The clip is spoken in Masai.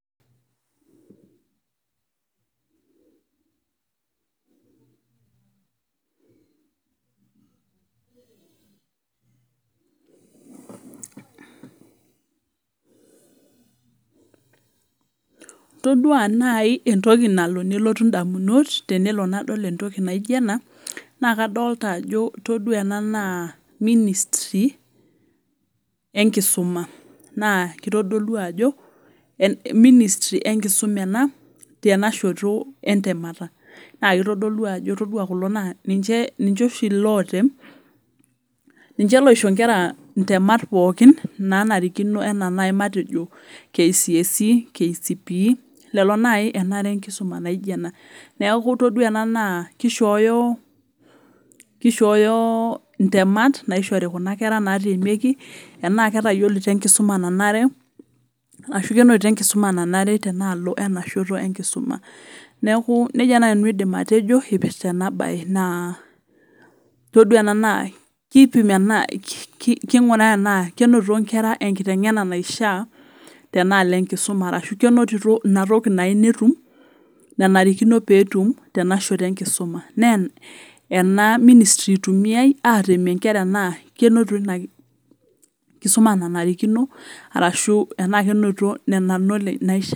todua naaji entoki nalo nelotu ndamunot tenadol entoki naijio ena naa kadolita Ajo etodua naa ministry tenkisuma naa kitodolu Ajo ministry tenkisuma ena tenashoto entemata naa kitodolu Ajo ore kulo naa ninche oshi lootem ninche loisho Nkera ntemat pookin naa narikino matejo naaji enaa K.C.S.E K.C.P.E lelo naaji enare tenkisuma naijio ena neeku ore ena kishoyo ntemat naoshori Kuna kera natemieki Tena ketayiolito enkusuma nanare arashu tenaalo tenashoto tenkisuma neeku nejia naaji aidim nanu atejo eipirta ena mbae naa etodua ena naa kipim enaa kinguraa enaa kenotito enkera enkiteng'ena naishaa tenaloo tenkisuma kenotito enatoki naifaa netum nanarikino petum tenashoto tenkisuma naa ena ministry eitumiai atemia enkera enaa kenotito tenkisuma nanarikino arashu Nena knowledge naishaa